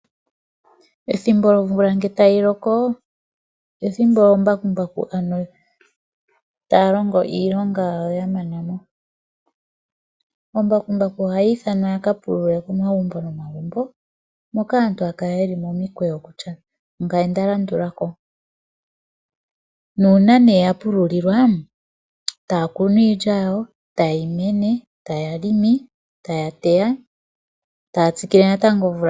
Ethimbo lyomvula tayi loko olyo ethimbo oombakumbaku taya longo iilonga yawo ya mana mo. Oombakumbaku ohaya ithanwa yakapulule komagumbo nomagumbo moka aantu haya kala yeli momikweyo kutya ongame ndalandula ko. Uuna nee yapululilwa taya kunu iilya yawo, tayi mene, taya helele, taya teya yo taya tsikile natango omvula ngele ya loko ishewe.